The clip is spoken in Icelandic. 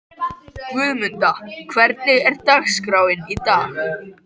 Guðmunda, hvernig er dagskráin í dag?